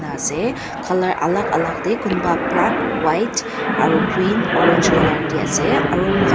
ena ase colour alak alak tae kunba black white aro green orange colour tae ase aro mokhan--